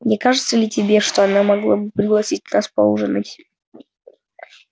не кажется ли тебе что она могла бы пригласить нас поужинать